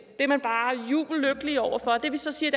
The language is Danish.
det er man bare jubellykkelige over for det vi så siger